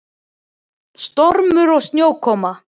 Stormur og snjókoma.